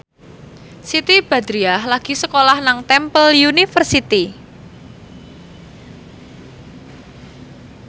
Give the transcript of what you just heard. Siti Badriah lagi sekolah nang Temple University